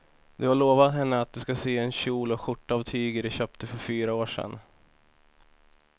Du har lovat henne att du ska sy en kjol och skjorta av tyget du köpte för fyra år sedan.